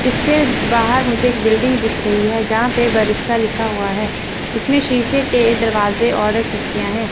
इसके बाहर मुझे एक बिल्डिंग दिख रही है जहां पे बरिस्ता लिखा हुआ है इसमें शीशे के दरवाजे और खिड़कियां है।